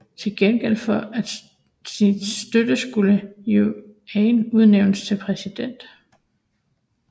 Til gengæld for sin støtte skulle Yuan udnævnes til præsident